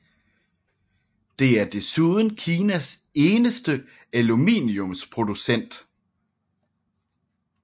Det er desuden Kinas eneste aluminiumsproducent